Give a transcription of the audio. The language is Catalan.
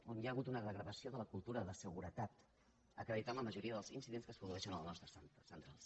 on hi ha hagut una degradació de la cultura de seguretat acreditada per la majoria dels incidents que es produeixen en les nostres centrals